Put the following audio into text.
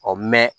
Ɔ mɛn